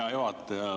Hea juhataja!